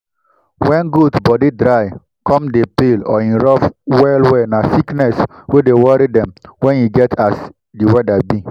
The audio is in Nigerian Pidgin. when goat body dry come dey peel or e rough well well na sickness wey dey worry dem when e get as the weather be